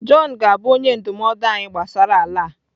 Jọn ga-abụ onye ndụmọdụ anyị gbasara ala a.